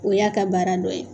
O y'a ka baara dɔ ye.